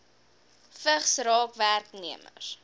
vigs raak werknemers